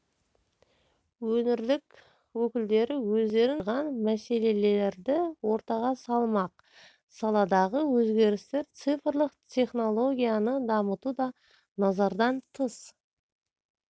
өңірлік өкілдері өздерін толғандырған мәселелерді ортаға салмақ саладағы өзгерістер цифрлық технологияны дамыту да назардан тыс